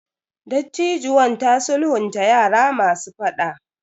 Dattijuwan ta sulhunta yara masu fada.